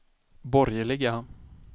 borgerliga